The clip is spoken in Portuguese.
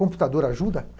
Computador ajuda?